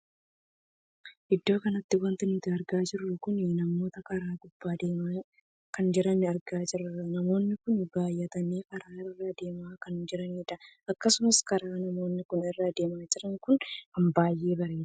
Iddoo kanatti wanti nuti argaa jirru kun namoota karaa gubbaa adeemaa kan jiran argaa jirra. namoonni kun baay'atanii karaa irra adeemaa kan jiranidha. akkasuma karaa namoonni kun irra adeemaa jiran kun kan baay'ee bareedudha.